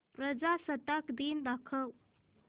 प्रजासत्ताक दिन दाखव